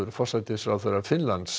forsætisráðherra Finnlands